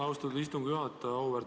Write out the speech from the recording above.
Austatud istungi juhataja!